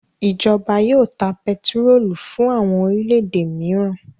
Ìjọba yóò ta pẹtírólù fún àwọn orílẹ̀-èdè mìíràn.